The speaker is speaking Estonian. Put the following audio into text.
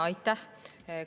Aitäh!